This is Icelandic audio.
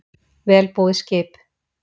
Vel búið skip